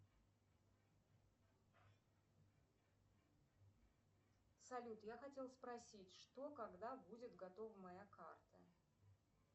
салют я хотела спросить что когда будет готова моя карта